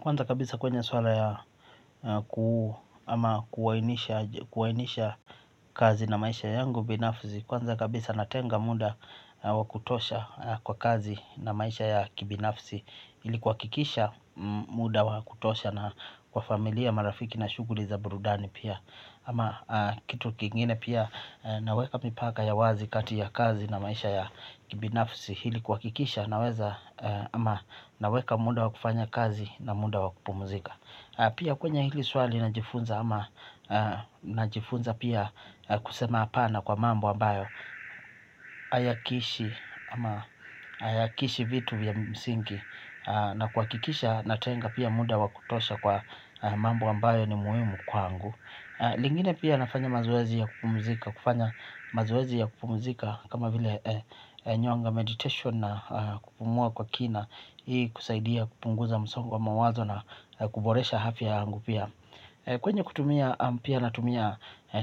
Kwanza kabisa kwenye swala ya kuuu ama kuwainisha kazi na maisha yangu binafzi kwanza kabisa natenga muda wakutosha kwa kazi na maisha ya kibinafzi. Hili kwa kikisha muda wakutosha na kwa familia marafiki na shuguri za burudani pia. Ama kitu kingine pia naweka mipaka ya wazi kati ya kazi na maisha ya kibinafzi. Hili kwa kikisha naweza ama naweka muda wakufanya kazi na muda wakupumuzika. Pia kwenye hili swali najifunza ama na jifunza pia kusema apana kwa mambo ambayo ayakishi vitu vya msinki na kwa kikisha natenga pia muda wakutosha kwa mambo wambayo ni muhimu kwangu. Lingine pia nafanya mazowezi ya kupumuzika. Kufanya mazowezi ya kupumuzika kama vile nyonga meditation na kupumua kwa kina. Hii kusaidia kupunguza msongo wa mawazo na kuboresha hafiya yangupia. Kwenye kutumia ampia na tumia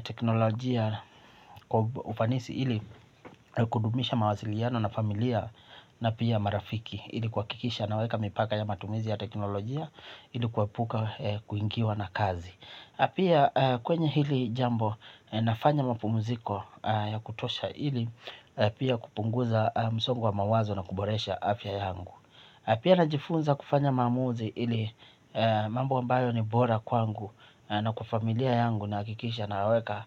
teknolojia kwa ufanisi ili kudumisha mawaziliano na familia na pia marafiki. Ilikuwa kikisha na weka mipaka ya matumizi ya teknolojia ilikuwe puka kuingiwa na kazi. Pia kwenye hili jambo nafanya mapu muziko ya kutosha hili pia kupunguza msongo wa mawazo na kuboresha afya yangu. Pia najifunza kufanya mamuzi hili mambo ambayo ni bora kwangu na kuafamilia yangu na kikisha naweka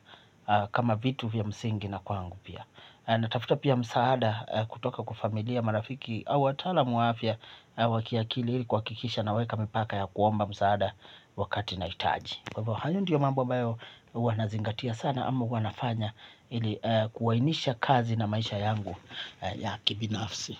kama vitu vya msingi na kwangu pia. Natafuta pia msaada kutoka kwa familia marafiki au watalamu afya wakiakili hili kwa kikisha naweka mpaka ya kuomba msaada wakati na itaji. Hayo ndiyo mambo ambayo huwa nazingatia sana. Amo huw anafanya ilikuwainisha kazi na maisha yangu ya kibinafsi.